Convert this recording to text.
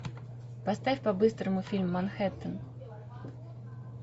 поставь по быстрому фильм манхэттен